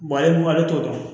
ale t'o dɔn